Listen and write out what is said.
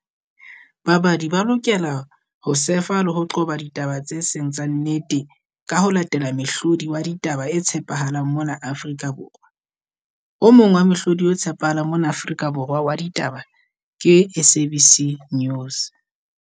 Babadi ba lokela ho surf-a le ho qoba ditaba tse seng tsa nnete. Ka ho latela mehlodi wa ditaba e tshepahalang mona Afrika Borwa. O mong wa mohlodi e tshepahalang mona Afrika Borwa wa ditaba ke S_A_B_C News.